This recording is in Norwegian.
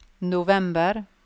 november